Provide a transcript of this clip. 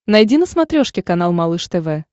найди на смотрешке канал малыш тв